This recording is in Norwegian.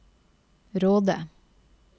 Råde